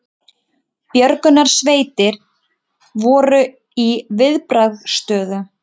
Björgunarsveitir voru í viðbragðsstöðu